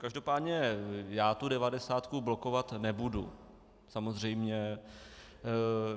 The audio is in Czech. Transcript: Každopádně já tu devadesátku blokovat nebudu, samozřejmě.